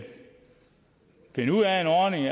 finde ud af en ordning